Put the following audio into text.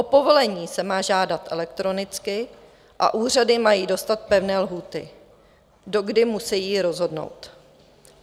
O povolení se má žádat elektronicky a úřady mají dostat pevné lhůty, do kdy musejí rozhodnout.